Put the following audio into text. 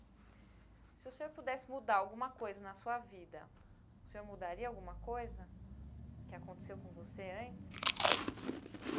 Se o senhor pudesse mudar alguma coisa na sua vida, o senhor mudaria alguma coisa que aconteceu com você antes?